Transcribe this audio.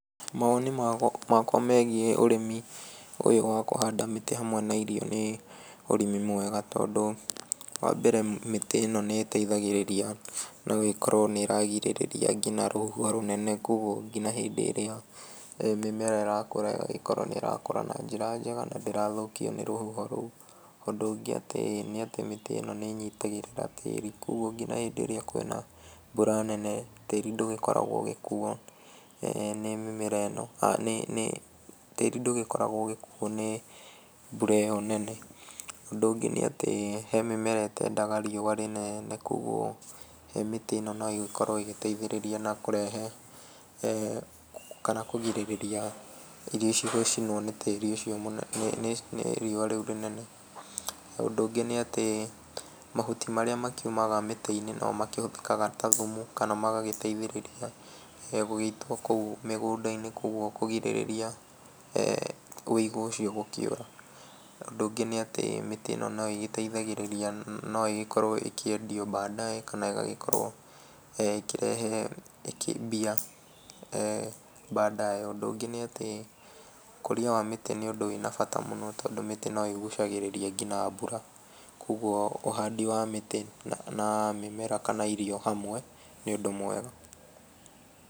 Mawoni makwa megiĩ ũrĩmi ũyũ wa kũhanda mĩtĩ hamwe na irio ni ũrĩmi mwega, tondu wa mbere mĩtĩ ĩno nĩ ĩteithagĩrĩria. No ĩkorwo nĩ ĩragirĩrĩria nginya rũhuho rũnene, kogwo nginya hĩndĩ ĩrĩa mĩmera ĩrakũra ĩgagĩkorwo nĩ ĩrakũra na njĩra njega, na ndĩrathũkio nĩ rũhuho rũu. Ũndũ ũngĩ nĩ atĩ mĩtĩ ĩno nĩ ĩnyitagĩrĩra tĩĩri kogwo nginya hĩndĩ ĩrĩa kwĩna mbura nene tĩĩri ndũgĩkoragwo ũgĩkuuo nĩ mbura ĩyo nene. Ũndũ ũngĩ nĩ atĩ he mĩmera ĩtendaga rĩũa rĩnene kogwo mĩtĩ ĩno no ĩgĩkorwo ĩgĩteithĩrĩria na kurehe kana kũgirĩrĩria irio icio gũcinwo nĩ rĩũa rĩu rĩnene. Ũndũ ũngĩ nĩ atĩ mahuti marĩa makiumaga mĩtĩ-inĩ no makĩhũthĩkaga ta thumu, kana magagĩteithĩrĩria gũgĩitwo kũu mĩgũnda-inĩ kogwo kũgirĩrĩria ũigũ ũcio gũkĩũra. Ũndũ ũngĩ nĩ atĩ mĩtĩ ĩno no ĩgĩteithagĩrĩria, no ĩgĩkorwo ĩkĩendio baadaye, kana ĩgagĩkorwo ĩkĩrehe mbia baadaye. Ũndũ ũngĩ nĩ atĩ ũkũria wa mĩtĩ nĩ ũndũ wĩ na bata mũno tondũ mĩtĩ no ĩgucagĩrĩria nginya mbura. Kogwo ũhandi wa mĩtĩ na mĩmera kana irio hamwe ni ũndũ mwega.